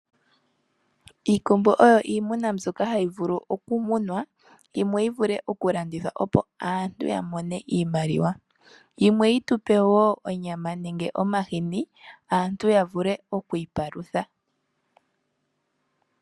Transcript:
Iikombo oyo iimuna mbyoka hayi vulu okumunwa, yimwe yi vule okulandithwa, opo aantu ya mone iimaliwa, yimwe yi tu pe wo onyama nenge omahini aantu ya vule okwiipalutha.